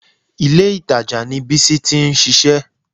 Ìlé-ìtajà ni Bísí ti ń ṣiṣẹ́